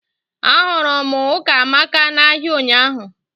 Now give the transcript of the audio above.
Ahụrụ m Ụkamaka na-ahịa ụnyaahụ